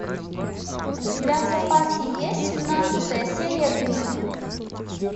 у тебя в запасе есть семнадцатая серия гримм